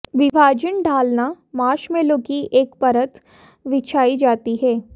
विभाजन ढालना मार्शमैलो की एक परत बिछाई जाती है